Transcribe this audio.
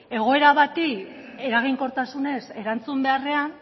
egoera bati eraginkortasunez erantzun beharrean